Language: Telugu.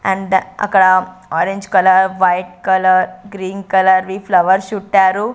అండ్ అక్కడ orange colour white colour green colour వి ఫ్లవర్స్ చుట్టారు.